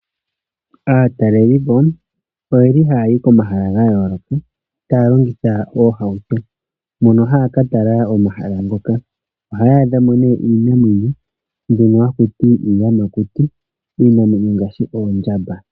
Aatalelipo oyeli haya yi komahala gayoloka taya longitha oohauto. Mono haya ka tala omahala ngoka. Ohaya adhamo nee iinamwenyo mbyono hakuti iiyamakuti, iinamwenyo ngaashi oondjamba.